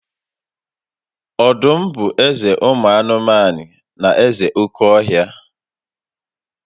Ọdụm bụ eze ụmụ anụmanụ na eze oke ọhịa